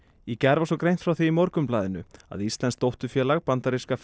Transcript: í gær var svo greint frá því í Morgunblaðinu að íslenskt dótturfélag bandaríska